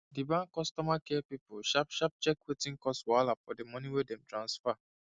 the bank customer care people sharp sharp check wetin cause wahala for the money wey dem transfer